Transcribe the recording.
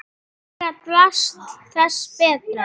Því meira drasl þess betra.